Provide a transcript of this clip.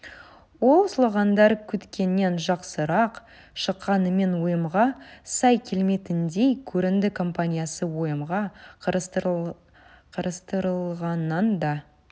ол слогандар күткеннен жақсырақ шыққанымен ұйымға сай келмейтіндей көрінді компаниясы ұйымға қарастырылғаннан да